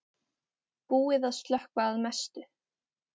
Búið að slökkva að mestu